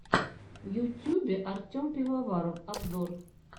в ютюбе артем пивоваров обзор